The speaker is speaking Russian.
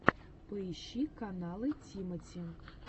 поищи каналы тимати